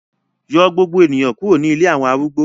Yọ gbogbo eniyan kuro ni ilé awọn arúgbó